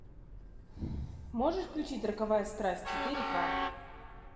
можешь включить роковая страсть четыре ка